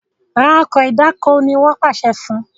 rà Ọkọ̀ ìdáko! ní wón pàṣẹ fún